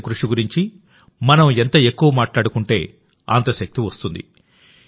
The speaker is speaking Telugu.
దేశం కృషి గురించి మనం ఎంత ఎక్కువ మాట్లాడుకుంటే అంత శక్తి వస్తుంది